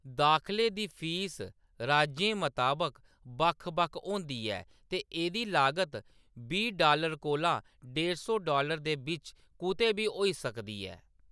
दाखले दी फीस राज्यें मताबक बक्ख-बक्ख होंदी ऐ ते एह्‌‌‌दी लागत बीह् डालर कोला डेढ सौ डालर दे बिच्च कुतै बी होई सकदी ऐ।